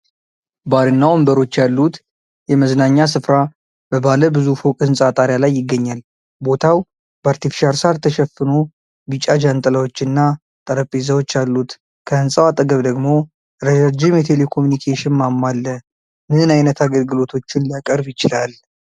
ባርና ወንበሮች ያሉት የመዝናኛ ስፍራ በባለ ብዙ ፎቅ ህንጻ ጣሪያ ላይ ይገኛል። ቦታው በአርቴፊሻል ሳር ተሸፍኖ ቢጫ ጃንጥላዎች እና ጠረጴዛዎች አሉት። ከህንፃው አጠገብ ደግሞ ረጃጅም የቴሌኮሙኒኬሽን ማማ አለ። ምን ዓይነት አገልግሎቶችን ሊያቀርብ ይችላል?